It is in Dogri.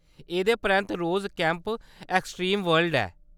एह्‌‌‌दे परैंत्त रोज़ केम्प : एक्सट्रीम वर्ल्ड ऐ।